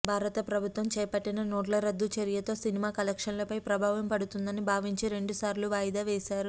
భారత ప్రభుత్వం చేపట్టిన నోట్ల రద్దు చర్యతో సినిమా కలెక్షన్స్పై ప్రభావం పడుతుందని భావించి రెండు సార్లు వాయిదా వేశారు